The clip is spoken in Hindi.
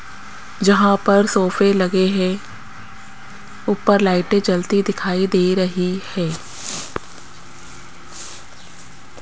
जहां पर सोफे लगे हैं ऊपर लाइटे जलती दिखाई दे रही है।